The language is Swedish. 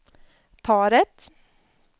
paret